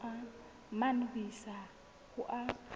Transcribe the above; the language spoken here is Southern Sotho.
mane ho isa ho a